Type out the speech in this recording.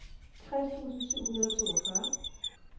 tres tusind syv hundrede og toogfyrre